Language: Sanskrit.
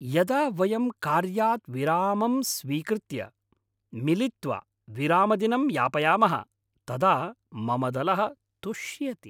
यदा वयं कार्यात् विरामं स्वीकृत्य, मिलित्वा विरामदिनं यापयामः तदा मम दलः तुष्यति।